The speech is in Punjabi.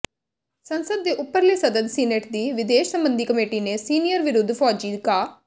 ਸੰਸਦ ਦੇ ਉੱਪਰਲੇ ਸਦਨ ਸੀਨੇਟ ਦੀ ਵਿਦੇਸ਼ ਸਬੰਧੀ ਕਮੇਟੀ ਨੇ ਸੀਰੀਆ ਵਿਰੱੁਧ ਫੌਜੀ ਕਾ